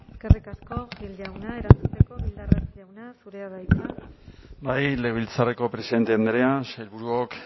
eskerrik asko gil jauna erantzuteko bildarratz jauna zurea da hitza bai legebiltzarreko presidente andrea sailburuok